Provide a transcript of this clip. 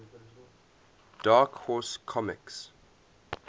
dark horse comics